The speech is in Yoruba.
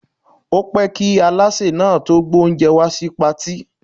Ó pẹ́ kí Alásè náà tó gbé oúnjẹ wá sí Patí.